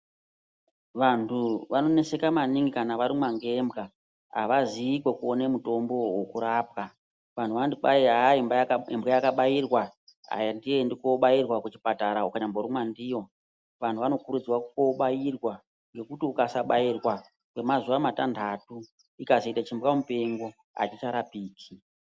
Vantu vanoneseka maningi kana varumwa ngembwa havazii kwekuone mutombo uwo wokurapwa. Vanhu vanoti kwayi hayi imbwa yakabairwa handiendi koobairwa kuchipatara ukanyamborumwa ndiyo. Vantu vanokurudzirwa koobairwa ngekuti ukasabairwa kwemazuva matanhatu, ikazoita chimbwamupengo, hachicharapiki.